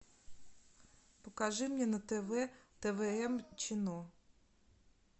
покажи мне на тв твм чину